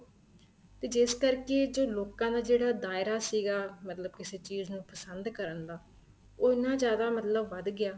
ਤੇ ਜਿਸ ਕਰਕੇ ਜੋ ਲੋਕਾਂ ਦਾ ਜਿਹੜਾ ਦਾਇਰਾ ਸੀਗਾ ਮਤਲਬ ਕਿਸੇ ਚੀਜ਼ ਨੂੰ ਪਸੰਦ ਕਰਨ ਦਾ ਉਹ ਇੰਨਾਂ ਜਿਆਦਾ ਮਤਲਬ ਵੱਧ ਗਿਆ